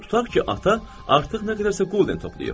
Tutaq ki, ata artıq nə qədərsə qulden toplayıb.